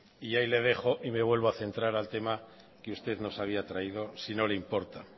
ahí le dejo y me vuelvo a centrar al tema que usted nos había traído si no le importa